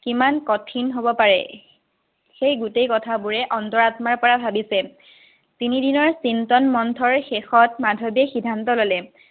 কিমান কঠিন হব পাৰে। সেই গোটেই কথাবোৰে অন্তৰ-আত্মাৰপৰা ভাৱিছে। তিনিদিনৰ চিন্তন মন্থৰ শেষত মাধৱীয়ে সিদ্ধান্ত ললে।